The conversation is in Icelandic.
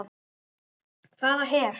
Hvaða her?